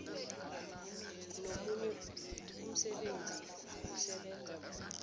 nomunye umsebenzi osebenza